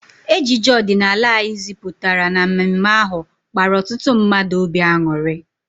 Ejije ọdịnala anyị ziputara na mme mme ahụ kpara ọtụtụ mmadụ obi anuri